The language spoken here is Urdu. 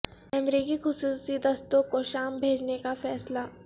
امریکی خصوصی دستوں کو شام بھیجنے کا فیصلہ